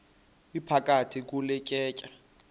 iphakathi kule tyeya